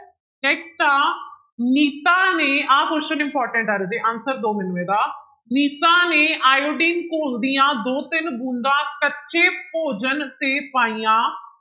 Next ਆ ਨੀਤਾ ਨੇ ਆਹ question important ਆ ਰਾਜੇ answer ਦਓ ਮੈਨੂੰ ਇਹਦਾ ਨੀਤਾ ਨੇ ਆਇਓਡੀਨ ਘੋਲ ਦੀਆਂ ਦੋ ਤਿੰਨ ਬੂੰਦਾਂ ਕੱਚੇ ਭੋਜਨ ਤੇ ਪਾਈਆਂ